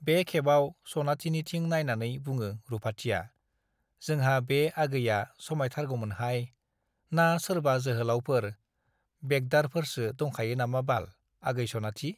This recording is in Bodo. बे खेबाव सनाथिनिथिं नाइनानै बुङो रुपाथिया , जोंहा बे आगैया समाइथारगौमोनहाय , ना सोरबा जोहोलाउफोर , बेगदारफोरसो दंखायो नामा बाल आगै सनाथि ?